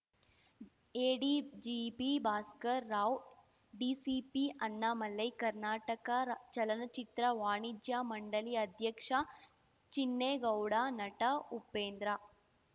ADGP Bhaskar Rao DCP Annamalai Karnataka ಚಲನಚಿತ್ರ ವಾಣಿಜ್ಯ ಮಂಡಳಿ ಅಧ್ಯಕ್ಷ ಚಿನ್ನೇಗೌಡ ನಟ ಉಪೇಂದ್ರ